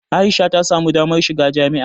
A'isha ta samu damar shiga jami'a.